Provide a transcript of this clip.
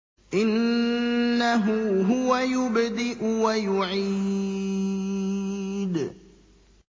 إِنَّهُ هُوَ يُبْدِئُ وَيُعِيدُ